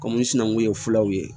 Kɔmi sinankun ye filaw ye